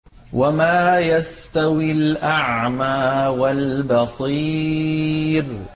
وَمَا يَسْتَوِي الْأَعْمَىٰ وَالْبَصِيرُ